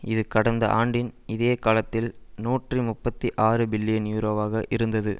இது கடந்த ஆண்டின் இதே காலத்தில் நூற்றி முப்பத்தி ஆறு பில்லியன் யூரோவாக இருந்தது